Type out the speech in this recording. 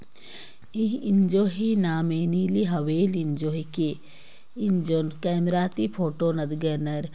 ईह इंजो ही नाम नीली व्हेल इंजो हिके इंजोंन कैमरा ति फोटो नदगानार